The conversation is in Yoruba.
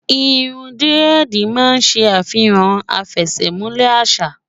irún diredi má n se afihan afesemule àṣà